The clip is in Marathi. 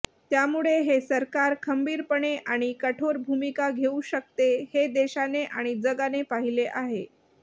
त्यामुळे हे सरकार खंबीरपणे आणि कठोर भूमिका घेऊ शकते हे देशाने आणि जगाने पाहिले आहे